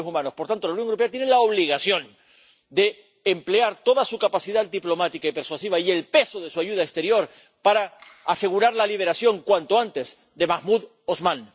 Por tanto, la Unión Europea tiene la obligación de emplear toda su capacidad diplomática y persuasiva y el peso de su ayuda exterior para asegurar la liberación cuanto antes de Mahmoud Osman.